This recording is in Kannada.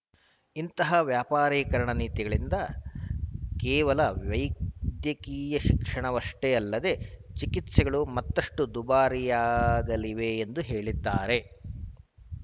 ಇಂತಹ ವ್ಯಾಪಾರೀಕರಣ ನೀತಿಗಳಿಂದ ಕೇವಲ ವೈದ್ಯಕೀಯ ಶಿಕ್ಷಣವಷ್ಟೇ ಅಲ್ಲದೇ ಚಿಕಿತ್ಸೆಗಳೂ ಮತ್ತಷ್ಟುದುಬಾರಿಯಾಗಲಿವೆ ಎಂದು ಹೇಳಿದ್ದಾರೆ